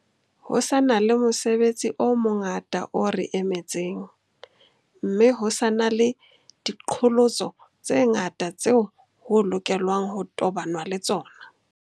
Ho sa na le mosebetsi o mongata o re emetseng, mme ho sa na le diqholotso tse ngata tseo ho lokelwang ho tobanwa le tsona.